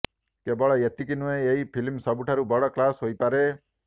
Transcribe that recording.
କେବଳ ଏତିକି ନୁହେଁ ଏହି ଫିଲ୍ମ ସବୁଠାରୁ ବଡ କ୍ଲାସ ହୋଇପାରେ